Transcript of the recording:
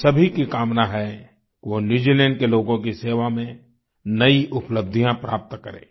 हम सभी की कामना है वो न्यूजीलैंड के लोगों की सेवा में नई उपलब्धियां प्राप्त करें